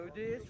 Gövdəyiz.